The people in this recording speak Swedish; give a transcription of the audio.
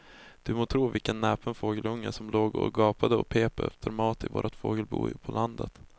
Du må tro vilken näpen fågelunge som låg och gapade och pep efter mat i vårt fågelbo på landet.